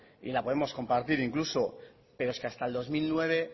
y la podemos compartir incluso pero es que hasta el dos mil nueve